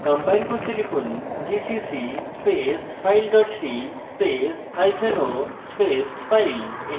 compile করতে লিখুন gcc space file dot c space hyphen o space file